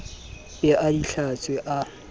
be a di hlatswe a